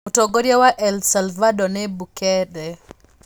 Mũtongoria wa El Salvador nĩ Bukele.